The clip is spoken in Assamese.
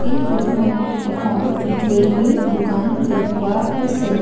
এই ফটোখনত এখন জুৱেলাৰী দোকান দেখোৱা হৈছে।